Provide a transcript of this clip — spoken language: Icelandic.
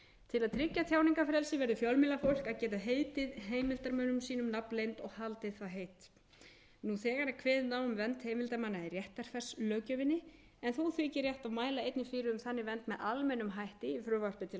til að tryggja tjáningarfrelsi verður fjölmiðlafólk að geta heitið heimildarmönnum sínum nafnleynd og haldið það heit nú þegar er kveðið er á um vernd heimildarmanna í réttarfarslöggjöfinni en þó þykir rétt að mæla einnig fyrir um þannig vernd með almennum hætti í frumvarpi til laga um